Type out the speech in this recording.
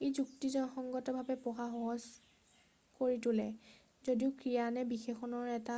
ই যুক্তিসংগতভাৱে পঢ়া সহজ কৰি তোলে যদিও ক্ৰিয়া নে বিশেষণৰ এটা